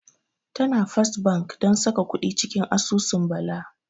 Tana First Bank don saka kuɗi cikin asusu Bala.